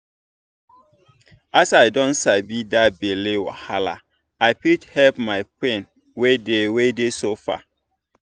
as i don sabi that belle wahala i fit help my friend wey dey wey dey suffer.